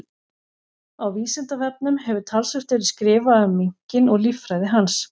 Á Vísindavefnum hefur talsvert verið skrifað um minkinn og líffræði hans.